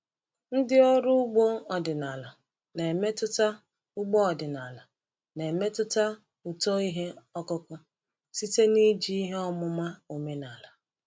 Ndị ọrụ ugbo ọdịnala na-emetụta ugbo ọdịnala na-emetụta uto ihe ọkụkụ site n’iji ihe ọmụma omenala.